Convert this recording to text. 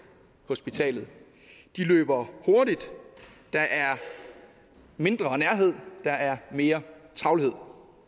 hospitalet de løber hurtigt der er mindre nærhed der er mere travlhed